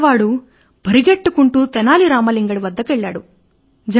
వంటవాడు పరిగెత్తుకొంటూ తెనాలి రామ లింగడి వద్దకు వెళ్ళాడు